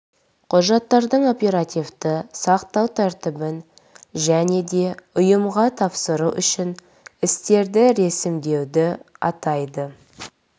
құжаттардың оперативті сақтау тәртібін және де ұйымға тапсыру үшін істерді ресімдеуді атайды